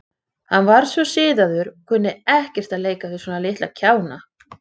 Hann kann líka betur við sig í rökkri við ljúfa tónlist og angan frá reykelsi.